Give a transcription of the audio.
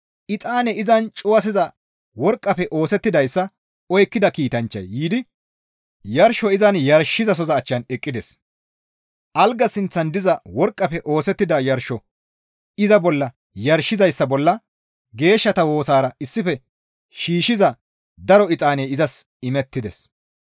Exaane izan cuwasiza worqqafe oosettidayssa oykkida kiitanchchay yiidi yarsho izan yarshizasoza achchan eqqides. Algaa sinththan diza worqqafe oosettida yarsho iza bolla yarshizayssa bolla geeshshata woosara issife shiishshiza daro exaaney izas imettides.